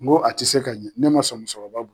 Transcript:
N go a tɛ se ka ɲɛ ne man sɔn musokɔrɔba